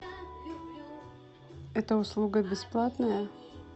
это услуга бесплатная